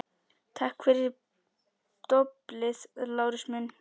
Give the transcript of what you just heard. Takk fyrir doblið, Lárus minn